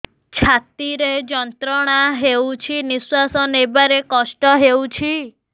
ଛାତି ରେ ଯନ୍ତ୍ରଣା ହେଉଛି ନିଶ୍ଵାସ ନେବାର କଷ୍ଟ ହେଉଛି